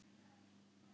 Okkar staður.